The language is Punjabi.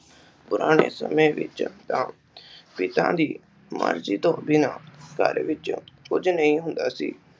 ਪੁਰਾਣੇ ਸਮੇਂ ਵਿਚ ਤਾ ਪਿਤਾ ਦੀ ਮਰਜ਼ੀ ਤੋਂ ਬਿਨਾਂ ਘਰ ਵਿਚ ਕੁਝ ਨਹੀਂ ਹੁੰਦਾ ਸੀ।